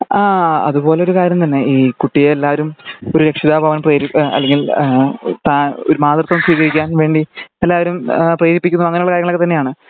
ആഹ് അതുപോലെ ഒരു കാര്യം തന്നെ ഈ കുട്ടിയെ എല്ലാരും ഒരു രക്ഷിതാവാവാൻ പ്രേരി അല്ലെങ്കിൽ അഹ് താ അല്ലെങ്കി ഒരു മാതൃത്വം സ്വീകരിക്കാൻ വേണ്ടി എല്ലാരും പ്രേരിപ്പിക്കുന്നു അങ്ങനെ ഉള്ള കാര്യങ്ങൾ തന്നെ